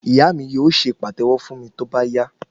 Ìyá mi yóò se pàtẹ́wọ́ fún mi tóbá yá